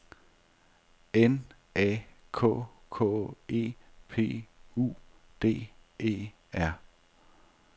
N A K K E P U D E R